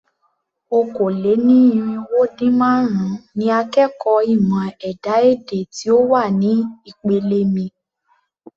Okòó-lé-ní-irínwó-dín-márùn-ún ni akẹ́kọ̀ọ́ ìmọ̀ ẹ̀dá-èdè tí ó wà ní ìpele mi.